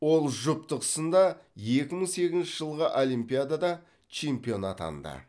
ол жұптық сында екі мың сегізінші жылғы олимпиадада чемпион атанды